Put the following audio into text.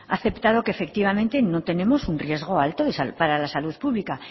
aceptado que efectivamente no tenemos un riesgo alto para la salud pública